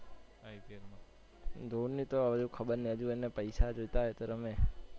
ધોની તો હવે ખબર નહી હજુ એને પૈસા જોયતા હોય તો રમે.